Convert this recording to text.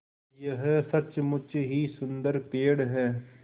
यह सचमुच ही सुन्दर पेड़ है